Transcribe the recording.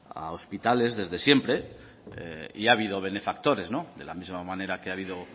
a hospitales desde siempre y ha habido benefactores de la misma manera que ha habido